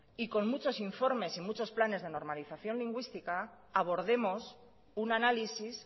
y con muchos informes y muchos planes de normalización lingüística abordemos un análisis